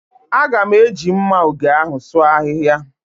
A ga-eji mma ògè ahụ sụọ ahịhịa